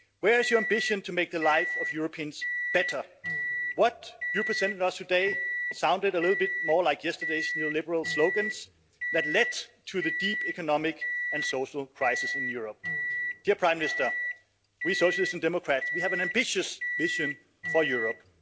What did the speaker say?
Where is your ambition to make the lives of Europeans better? What you presented to us today sounded a little bit more like yesterday's neoliberal slogans that led to the deep economic and social crisis in Europe. Prime Minister, we Socialists and Democrats have an ambitious vision for Europe.